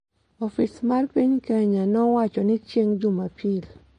Ofis mar piny Kenya nowacho ni chieng’ Jumapil